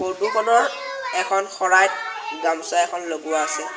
ফটোখনৰ এখন শৰাইত গামোচা এখন লগোৱা আছে।